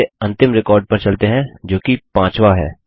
चलिए अंतिम रिकॉर्ड पर चलते हैं जोकि पाँचवा है